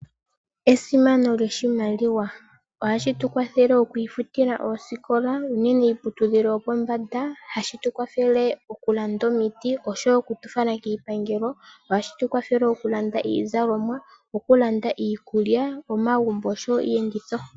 Esimano lyoshimaliwa ohashi tukwathele okwiifutila oosikola nenge iiputudhilo yopombanda hashi tukwathele okulanda omiti osho wo okutufala kiipangelo ohashi tukwathele okulanda iizalomwa, okulanda iikulya, omagumbo nosho wo iiyenditho.